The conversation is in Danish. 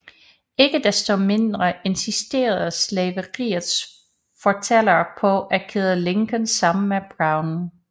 Ikke desto mindre insisterede slaveriets fortalere på at kæde Lincoln sammen med Brown